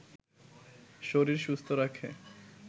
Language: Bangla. শরীর সুস্থ রাখে